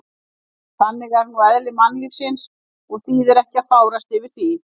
En þannig er nú eðli mannlífsins og þýðir ekki að fárast yfir því.